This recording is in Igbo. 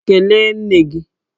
Kelee nne gi!